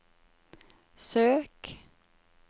søk